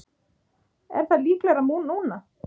Er það líklegra núna?